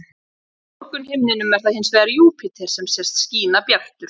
Á morgunhimninum er það hins vegar Júpíter sem sést skína bjartur.